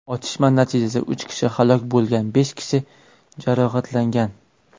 Otishma natijasida uch kishi halok bo‘lgan, besh kishi jarohatlangan.